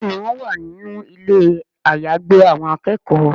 Béèni wón wá nínú Ilé àyágbé àwọn akẹ́kọ̀ọ́.